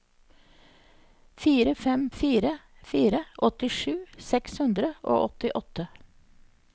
fire fem fire fire åttisju seks hundre og åttiåtte